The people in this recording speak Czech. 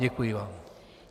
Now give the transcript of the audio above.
Děkuji vám.